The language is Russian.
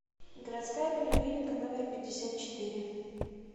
городская поликлиника номер пятьдесят четыре